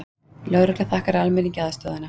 Lögregla þakkar almenningi aðstoðina